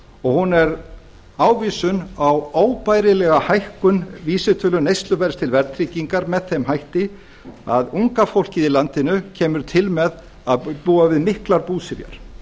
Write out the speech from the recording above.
og hún er ávísun á óbærilega hækkun vísitölu neysluverðs til verðtryggingar með þeim hætti að unga fólkið í landinu kemur til með að búa við miklar búsifjar